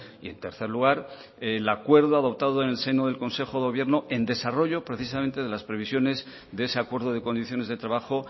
y en tercer lugar el acuerdo adoptado en el seno del consejo de gobierno en desarrollo precisamente de las previsiones de ese acuerdo de condiciones de trabajo